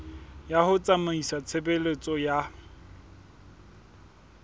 ya ho tsamaisa tshebeletso ya